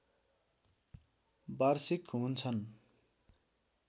वार्षिक हुन्छन्